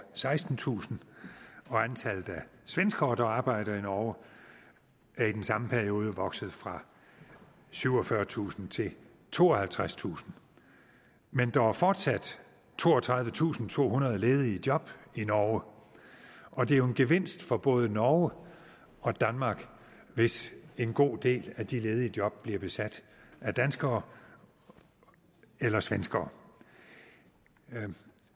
sekstentusind og antallet af svenskere der arbejder i norge er i den samme periode vokset fra syvogfyrretusind til tooghalvtredstusind men der er fortsat toogtredivetusinde og tohundrede ledige job i norge og det er jo en gevinst for både norge og danmark hvis en god del af de ledige job bliver besat af danskere eller svenskere